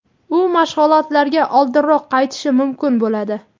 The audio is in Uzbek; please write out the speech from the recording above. u mashg‘ulotlarga oldinroq qaytishi mumkin bo‘ladi.